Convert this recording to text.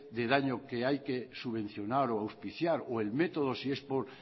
de daño que hay que subvencionar o auspiciar o el método si es por